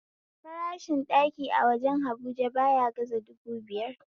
Farashin ɗaki a wajen habuja baya gaza dubu biyar